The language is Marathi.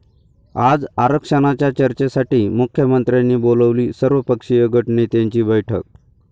आज आरक्षणाच्या चर्चेसाठी मुख्यमंत्र्यांनी बोलावली सर्वपक्षीय गटनेत्यांची बैठक